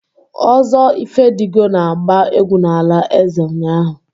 Ozo Ifedigo na-agba egwu n'ala eze ụnyahụ.